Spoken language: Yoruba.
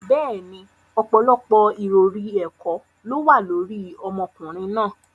Bẹ́ẹ̀ni, ọ̀pọ̀lọpọ̀ ìròrí ẹ̀kọ́ ló wà lórí ọmọkùnrin náà.